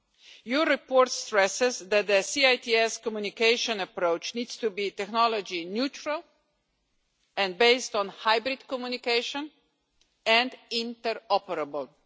The report stresses that the C-ITS communication approach needs to be technology neutral, based on hybrid communication and interoperable.